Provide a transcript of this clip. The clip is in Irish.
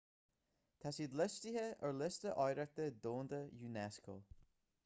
tá siad liostaithe ar liosta oidhreachta domhanda unesco